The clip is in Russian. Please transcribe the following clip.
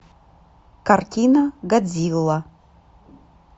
картина годзилла